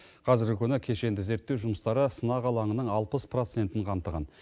қазіргі күні кешенді зерттеу жұмыстары сынақ алаңының алпыс процентін қамтыған